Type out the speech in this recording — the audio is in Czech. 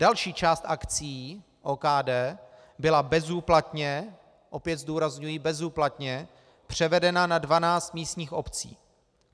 Další část akcií OKD byla bezúplatně - opět zdůrazňuji bezúplatně - převedena na 12 místních obcí.